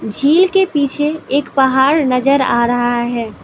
झील के पीछे एक पहाड़ नजर आ रहा है।